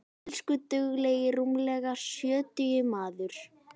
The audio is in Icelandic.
Elsku duglegi rúmlega sjötugi maður.